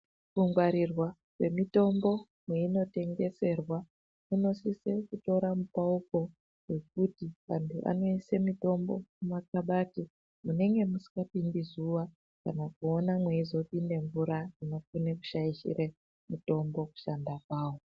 Kungwarirwa kwemitombo kweinotengeserwa kunosisa kutora mupauko ngekuti vantu vanoise mutombo mumakabhadhi munenge musikapindi zuwa kana kuona mweizopinda mvura iyo inikona kushaishire mutombo kushanda kwawo.